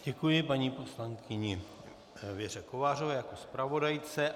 Děkuji paní poslankyni Věře Kovářové jako zpravodajce.